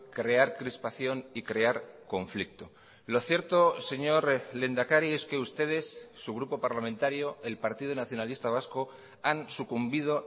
crear crispación y crear conflicto lo cierto señor lehendakari es que ustedes su grupo parlamentario el partido nacionalista vasco han sucumbido